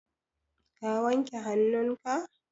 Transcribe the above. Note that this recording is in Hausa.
ka wanke hannunka?